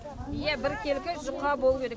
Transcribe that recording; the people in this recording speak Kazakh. иә біркелкі жұқа болуы керек